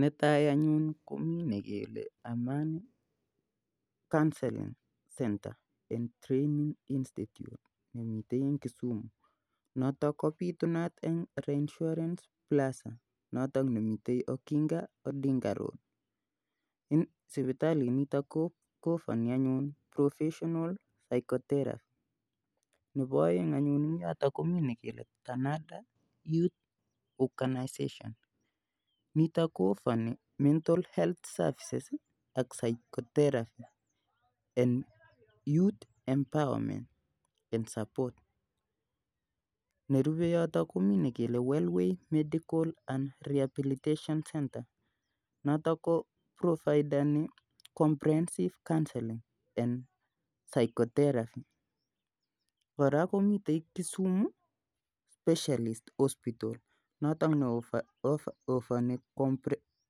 Netai anyun komii nekele Amani counseling centre en Training institute nemiten en kisumu noton kobitunat en Reinsurance classic notok nemiten okinga odinga road sipitalinitok ko offanin anyun proffesional physiotheraphy, nebo aeng anyun en yoton komii nekele canada youth organisation nitoo ko offani mental healthy services ak physiotheraphy and youth emporwement and support nerube yoto komii nekel Wellway medical and Rehabilitation centre noto ko provideni comprehensive counseling and physiotheraphy kora komiten Kisumu specialist hospital notok ne offani